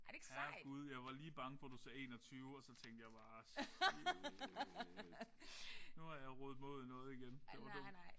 Herregud jeg var lige bange for du sagde 21 og så tænkte jeg bare shit nu har jeg rodet mig ud i noget igen. Det var dumt